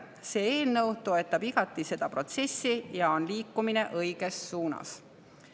See eelnõu toetab igati seda protsessi ja on liikumine õiges suunas.